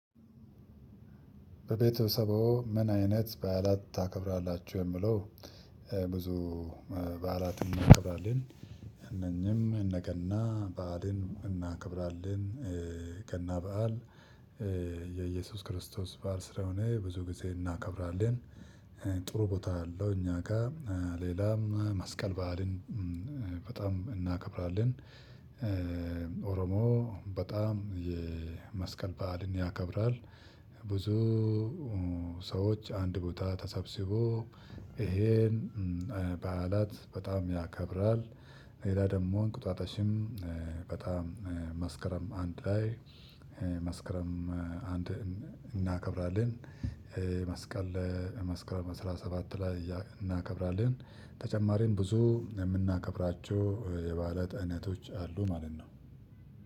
በቤተሰብዎ ምን አይነት በዓላት ታከብራላቹ የሚለው? ብዙ በዓላትን እናክብራለን እነኚህም እነ ገና በዓልን እናክብራለን ገና በዓል የኢየሱስ ክርስቶስ በዓል ስለሆነ ብዙ ጊዜ እናከብራለን። ጥሩ ቦታ አለው እኛ ጋር። ሌላም መስቀል በዓልን በጣም እናከብራለን። ኦሮሞ በጣም የመስቀል በዓልን ያከብራል። ብዙ ሰዎች አንድ ቦታ ተሰብስቦ ይሄን በዓላት በጣም ያከብራል። ሌላ ደግሞ እንቁጣጣሽም በጣም መስከረም አንድ ላይ መስክረም አንድ እናከብራለን። መስቀል መስክረም አስራ ሰባት ላይ እናከብራለን። ተጨማሪም ብዙ የምናከብራቸው የበዓላት አይነቶች አሉ ማለት ነው።